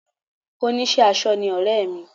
oníṣẹ́ aṣọ ni ọ̀rẹ́ mi